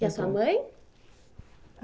E a sua mãe?